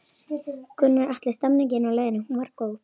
Gunnar Atli: Stemningin á leiðinni, hún var góð?